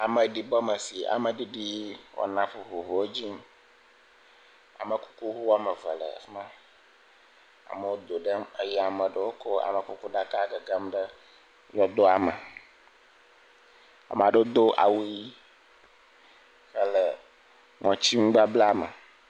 Ameɖibɔme si ameɖiɖi wɔna vovovowo edzi yim amekukuʋu woame eve le afima amewo do ɖem eye amewo kɔ amekuku ɖaka gegem ɖe yɔdoame ame aɖewo do awu ɣi hele ŋɔti nubablame